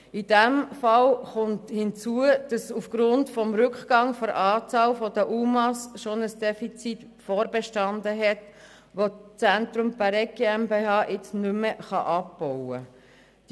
In diesem Fall kommt hinzu, dass aufgrund des Rückgangs der Anzahl UMA bereits ein Defizit vorbestanden hat, welches das Zentrum Bäregg jetzt nicht mehr abbauen kann.